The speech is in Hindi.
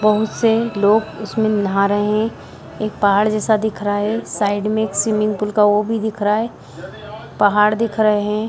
बहुत से लोग इस में नाहा रहे हैं एक पहाड़ जैसा दिख रहा है साइड में स्विमिंग पूल वो भी दिख रहा है पहाड़ दिख रहे हैं।